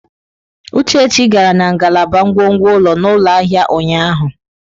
Uchechi gara na ngalaba ngwongwo ụlọ n'ụlọ ahịa ụnyaahụ.